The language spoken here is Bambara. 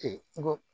n ko